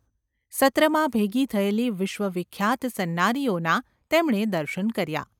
સત્રમાં ભેગી થયેલી વિશ્વવિખ્યાત સન્નારીઓનાં તેમણે દર્શન કર્યા.